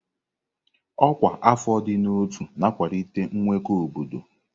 Ọkwa afọ ịdị na ọtú na-akwalite nkwekọ obodo.